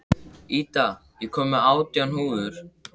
Ída, ég kom með átján húfur!